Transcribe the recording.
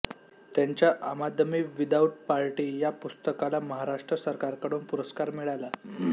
त्यांच्या Aam Aadmi without party या पुस्तकाला महाराष्ट्र सरकारकडून पुरस्कार मिळाला